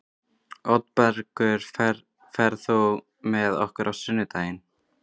Oddbergur, ferð þú með okkur á sunnudaginn?